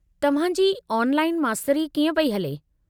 तव्हां जी ऑनलाइन मास्तरी कीअं पई हले?